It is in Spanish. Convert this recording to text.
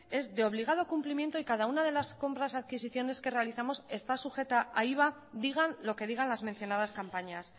es de obligado cumplimiento y cada una de las compras adquisiciones que realizamos está sujeta a iva digan lo que digan las mencionadas campañas